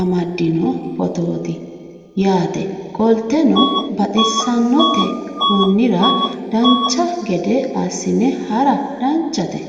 amaddino footooti yaate qoltenno baxissannote konnira dancha gede assine haara danchate